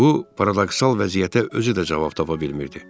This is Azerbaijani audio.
Bu paradoksal vəziyyətə özü də cavab tapa bilmirdi.